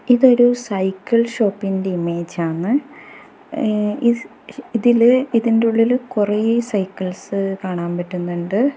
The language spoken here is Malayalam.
ഇതൊരു സൈക്കിൾ ഷോപ്പിന്റെ ഇമേജ് ആണ് ഏ ഇസ് ഇതിൽ ഇതിന്റെ ഉള്ളില് കുറെ സൈക്കിൾസ് കാണാൻ പറ്റുന്നുണ്ട്.